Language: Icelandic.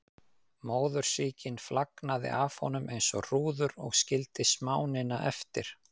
Móðursýkin flagnaði af honum eins og hrúður og skildi smánina eftir.